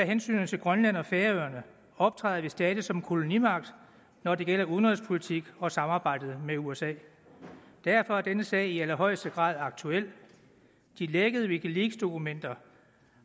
hensynet til grønland og færøerne optræder vi stadig som kolonimagt når det gælder udenrigspolitik og samarbejdet med usa derfor er denne sag i allerhøjeste grad aktuel de lækkede wikileaksdokumenter